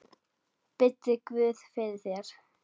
Biddu guð fyrir þér.